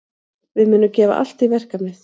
Við munum gefa allt í verkefnið.